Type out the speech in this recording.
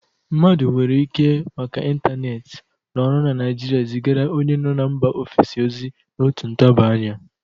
Mmadụ nwere ike, maka intaneeti, nọrọ na Naịjịrịa zigara onye nọ na mba ofesi ozi n'otu ntabị anya.